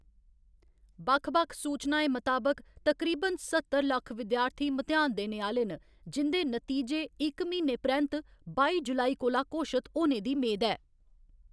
बक्ख बक्ख सूचनाएं मताबक, तकरीबन सत्तर लक्ख विद्यार्थी म्तेहान देने आह्‌‌‌ले न, जिं'दे नतीजे इक म्हीने परैंत्त बाई जुलाई कोला घोशत होने दी मेद ऐ।